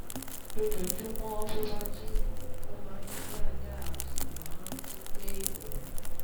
Lójoojúmọ́ tó bá jí, ó máa ń mí dáadáa, ó sì máa ń rántí pé òun